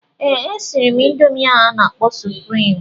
Ee, e siri m ịndomii ahụ a na-akpọ suprịm.